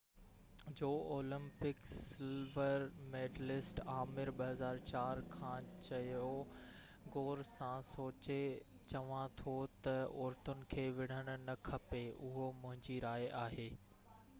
2004 جو Olympic silver medallist Aamir Khan چيو غور سان سوچي چوان ٿو ته عورتن کي وڙهڻ نه کپي اهو منهنجي راءِ آهي